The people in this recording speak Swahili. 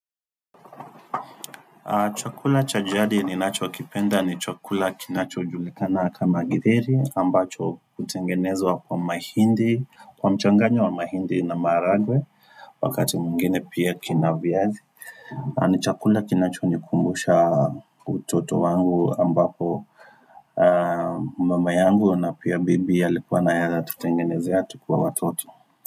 Chakula chajadi ni nacho kipenda ni chakula kinacho julikana kama githeri ambacho kutengenezwa kwa mahindi, kwa mchanganyo wa mahindi na maragwe, wakati mwingine pia kina vyazi. Ni chakula kinacho nikumbusha utoto wangu ambapo mama yangu na pia bibi alikuwa anatutengenezia tukiwa watoto.